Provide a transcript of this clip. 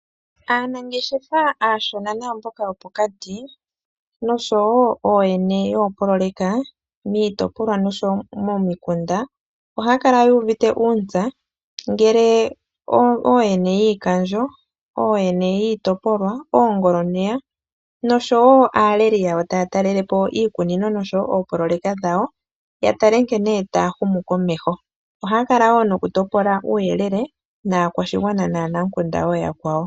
Aanangeshefa aashona naamboka yopokati noshowo ooyene yoopoloyeka miitopolwa noshowo momikunda ohaya kala yu uvite uuntsa ngele ooyene yiikandjo, ooyene yiitopolwa, oongoloneya noshowo aaleli yawo taya talelepo iikunino noshowo oopoloyeka dhawo, ya tale nkene taya humu komeho. Ohaya kala wo nokutopola uuyelele naakwashigwana naanamukunda ooyakwawo.